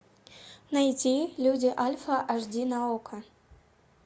найди люди альфа аш ди на окко